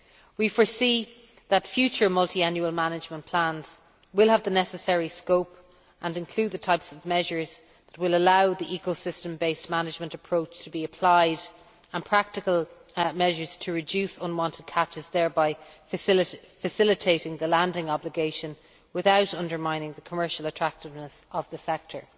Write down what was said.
We foresee that future multiannual management plans will have the necessary scope and include the types of measures that will allow the eco system based management approach to be applied as well as practical measures to reduce unwanted catches, thereby facilitating the landing obligation without undermining the commercial attractiveness of the sector.